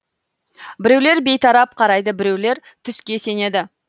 біреулер бейтарап қарайды біреулер түске сенеді